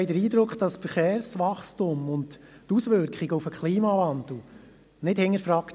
Das Verkehrswachstum und dessen Auswirkungen auf den Klimawandel werden nicht hinterfragt.